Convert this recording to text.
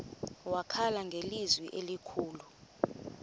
wakhala ngelizwi elikhulu